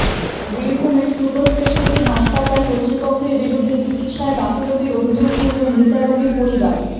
বীরভূমের super speciality হাসপাতাল কর্তৃপক্ষের বিরুদ্ধে চিকিৎসায় গাফিলতির অভিযোগ তুলল মৃতা রোগীর পরিবার